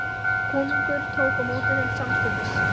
Konungur tók á móti þeim samstundis.